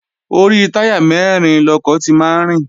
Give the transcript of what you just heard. Orí táyà mẹ́rin lọkọ̀ ti máa ń rìn